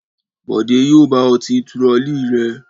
Bọ̀dé yóò bá ọ ti turọlí rẹ.